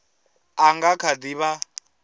a nga kha di vha